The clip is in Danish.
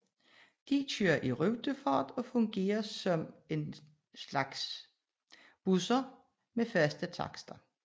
De kører i rutefart og fungerer som en slags busser med faste takster